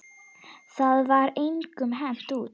Það var engum hent út.